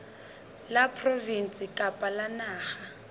la provinse kapa la naha